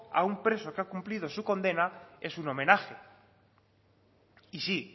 a un preso que ha cumplido su condena es un homenaje y sí